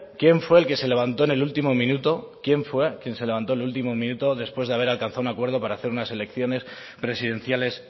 quién fue el que se levantó en el último minuto quién fue quien se levantó en el último minuto después de haber alcanzado un acuerdo para hacer unas elecciones presidenciales